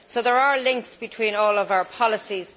So there are links between all of our policies.